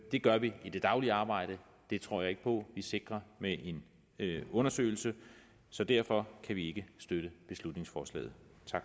det gør vi i det daglige arbejde det tror jeg ikke på vi sikrer med en undersøgelse så derfor kan vi ikke støtte beslutningsforslaget